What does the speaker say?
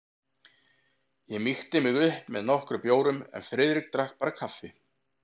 Ég mýkti mig upp með nokkrum bjórum en Friðrik drakk bara kaffi.